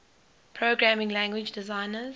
programming language designers